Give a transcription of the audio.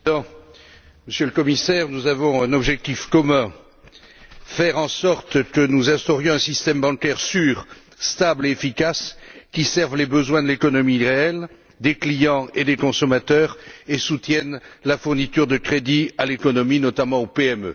Monsieur le Président, Monsieur le Commissaire, nous avons un objectif commun faire en sorte d'instaurer un système bancaire sûr, stable et efficace, qui serve les besoins de l'économie réelle, des clients et des consommateurs et soutienne la fourniture de crédits à l'économie, notamment aux PME.